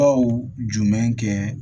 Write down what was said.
jumɛn kɛ